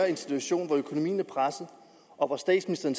en situation hvor økonomien er presset og hvor statsministeren